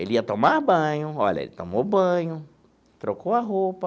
Ele ia tomar banho, olha, ele tomou banho, trocou a roupa,